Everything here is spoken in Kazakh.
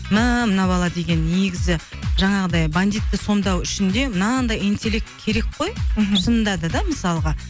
мәә мына бала деген негізі жаңағыдай бандитті сомдау үшін де мынандай интелект керек қой мхм шынында да мысалға